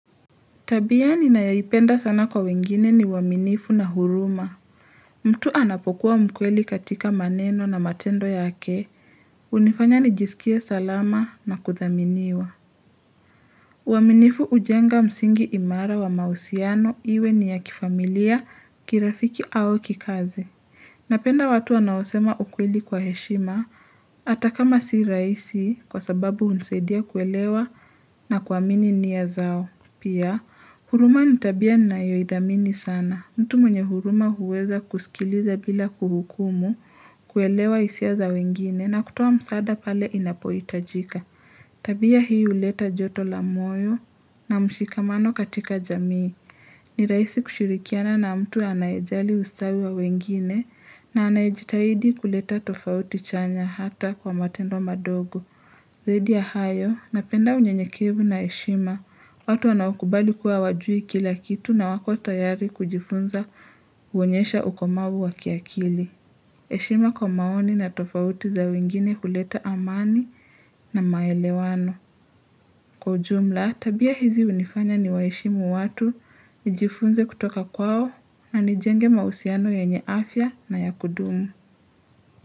Tabia ninayoipenda sana kwa wengine ni uaminifu na huruma. Mtu anapokuwa mkweli katika maneno na matendo yake, hunifanya nijisikie salama na kuthaminiwa. Uaminifu hujenga msingi imara wa mauhusiano iwe ni ya kifamilia, kirafiki au kikazi. Napenda watu wanaosema ukweli kwa heshima, hata kamasi rahisi kwa sababu hunisaidia kuelewa na kuamini nia zao. Pia, huruma ni tabia ninayoidhamini sana. Mtu mwenye huruma huweza kusikiliza bila kuhukumu, kuelewa hisia za wengine na kutoa msaada pale inapoitajika. Tabia hii huleta joto la moyo na mshikamano katika jamii. Ni rahisi kushirikiana na mtu anayejali ustawi wa wengine na anayijitahidi kuleta tofauti chanya hata kwa matendo madogo. Zaidi ya hayo, napenda unyenyekevu na heshima, watu wanaokubali kuwa hawajui kila kitu na wako tayari kujifunza huonyesha ukomavu wa kiakili. Heshima kwa maoni na tofauti za wengine huleta amani na maelewano. Kwa ujumla, tabia hizi hunifanya ni waheshimu watu, nijifunze kutoka kwao na nijenge mahusiano yenye afya na ya kudumu.